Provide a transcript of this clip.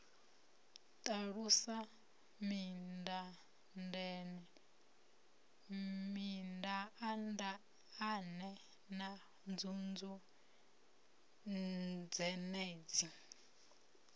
ṱalusa mindaandaane na nzunzu dzenedzi